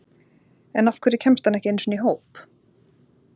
En af hverju kemst hann ekki einu sinni í hóp?